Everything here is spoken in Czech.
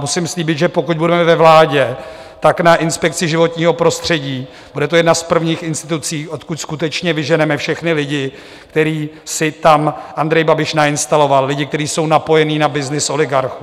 Musím slíbit, že pokud budeme ve vládě, tak na Inspekci životního prostředí - bude to jedna z prvních institucí, odkud skutečně vyženeme všechny lidi, které si tam Andrej Babiš nainstaloval, lidi, kteří jsou napojeni na byznys oligarchů.